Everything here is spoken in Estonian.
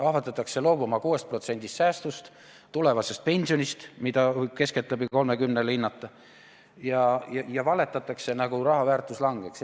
Ahvatletakse loobuma 6% säästust, tulevasest pensionist, mida võib keskeltläbi 30%-le hinnata, ja valetatakse, nagu raha väärtus langeks.